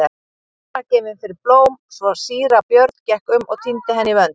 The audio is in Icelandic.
Steinunn var gefin fyrir blóm svo síra Björn gekk um og tíndi henni í vönd.